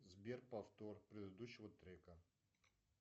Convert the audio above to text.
сбер повтор предыдущего трека